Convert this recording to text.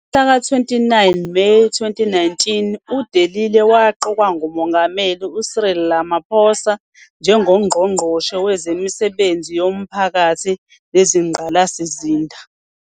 Ngomhlaka 29 Meyi 2019, uDe Lille waqokwa nguMongameli uCyril Ramaphosa njengoNgqongqoshe Wezemisebenzi Yomphakathi Nezingqalasizinda.